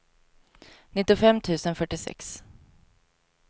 nittiofem tusen fyrtiosex